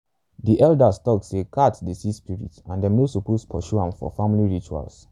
the elders tok say cats dey see spirits and them no suppose pursue am for family rituals.